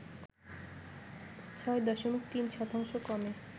৬ দশমিক ৩ শতাংশ কমে